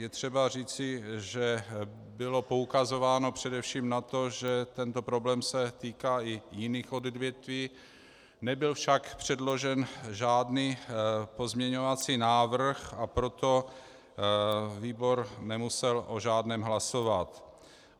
Je třeba říci, že bylo poukazováno především na to, že tento problém se týká i jiných odvětví, nebyl však předložen žádný pozměňovací návrh, a proto výbor nemusel o žádném hlasovat.